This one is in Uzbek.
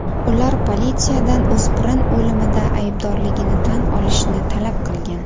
Ular politsiyadan o‘spirin o‘limida aybdorligini tan olishni talab qilgan.